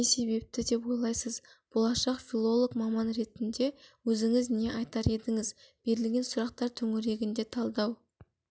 не себепті деп ойлайсыз болашақ филолог маман ретінде өзіңіз не айтар едіңіз берілген сұрақтар төңірегінде талдау